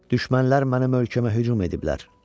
Düşmənlər mənim ölkəmə hücum ediblər.